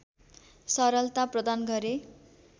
सरलता प्रदान गरे